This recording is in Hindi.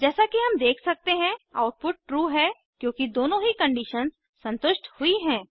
जैसा कि हम देख सकते हैं आउटपुट ट्रू है क्योंकि दोनों ही कंडीशन्स संतुष्ट हुई हैं